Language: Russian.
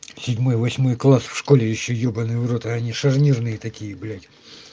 седьмой восьмой класс в школе ещё ёбанный в рот а они шарнирные такие блять